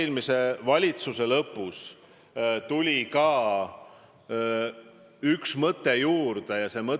Kokkuvõttes aga peame arvestama ikkagi seda – küllap teiegi sellega tulenevalt Euroopa kohaliku omavalitsuse hartast nõus olete –, et me lähtume põhimõttest, et omavalitsused on iseseisvad.